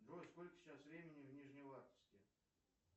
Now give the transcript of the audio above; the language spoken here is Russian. джой сколько сейчас времени в нижневартовске